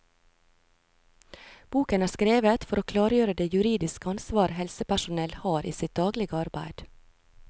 Boken er skrevet for å klargjøre det juridiske ansvar helsepersonell har i sitt daglige arbeid.